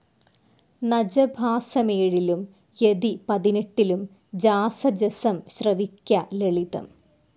നജ ഭാസമേഴിലും യതി പതിനെട്ടിലും ജാസ ജസം ശ്രവിക്ക ലളിതം.